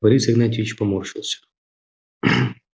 борис игнатьевич поморщился